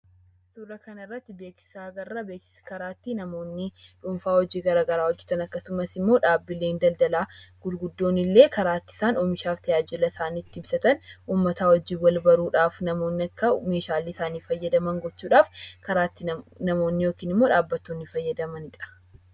Suuraa kana irratti beeksisa argina. Beeksisni karaa ittiin namoonni dhuunfaa hojii garaa garaa hojjetan akkasumas immoo dhaabbileen daldalaa guguddoon illee karaa itti isaan oomisha isaanii itti ibsatan, uummataa wajjin wal baruudhaaf namoonni akka meeshaalee isaanii fayyadaman gochuudhaaf karaa ittiin namoonni yookiin immoo dhaabbattoonni fayyadamaniidha.